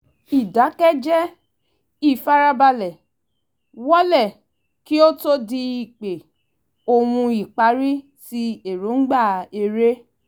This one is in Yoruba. ìdákẹ́jẹ́ ìfarabalẹ̀ wó’lẹ̀ kí ó tó di ípè-ohùn ìpárí ti èròǹgbà eré